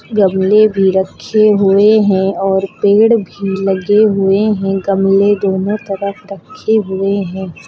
गमले भी रखे हुए हैं और पेड़ भी लगे हुए हैं गमले दोनो तरफ रखे हुए हैं।